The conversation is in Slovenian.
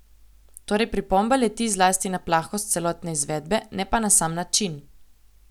Torej pripomba leti zlasti na plahost celotne izvedbe, ne pa na sam način.